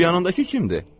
Bu yanındakı kimdir?